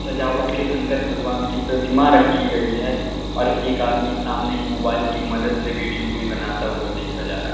सजावट के अंदर भगवान की प्रतिमा रखी गई है और एक आदमी सामने ही मोबाइल की मदद से वीडियो भी बनाता हुआ देखा जा रहा--